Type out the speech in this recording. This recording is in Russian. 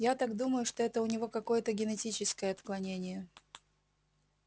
я так думаю что это у него какое-то генетическое отклонение